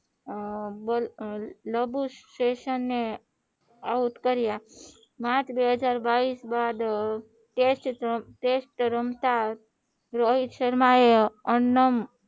હ બોલ લબુ સ્ટેશન ને આઉટ કર્યા માર્ચ બેહઝાર બાવીસ બાદ ટેસ્ટ રમતા એ રોહિત શર્મા એ અનમ,